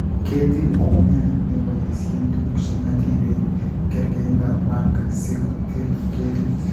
ketilei:- ineendet ne kiboisyee tuguuk che ng'atiben, kergeindap paga si kotil ketit.